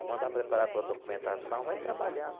Vou mandar preparar a tua documentação, vai trabalhando.